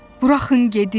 Buraxın gedim!